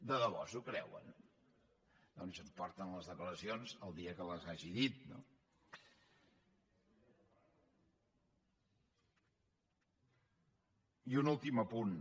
de debò s’ho creuen doncs em porten les declaracions el dia que les hagi dit no i un últim apunt